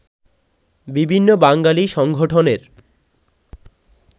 বিভিন্ন বাঙালি সংগঠনের